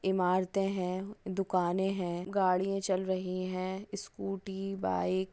ईमाराते हे दुकाने हे गाड़िया चाल रही हे इस्कूटी बाईक --